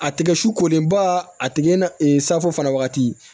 A tigɛ su kolenba a tigɛ na safo fana wagati